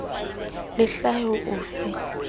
le hlahe ho o fa